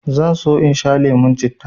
zan so in sha lemon citta